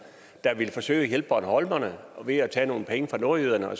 der ville forsøge at hjælpe bornholmerne ved at tage nogle penge fra nordjyderne og